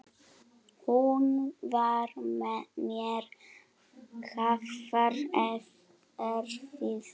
Hún var mér afar erfið.